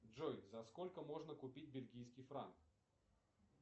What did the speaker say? джой за сколько можно купить бельгийский франк